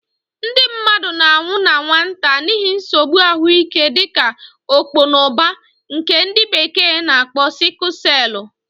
Ndị mmadụ na-anwụ na nwata n'ihi nsogbu ahụike dịka ọkpọnọbar, nke ndi bekee na akpo sickle celu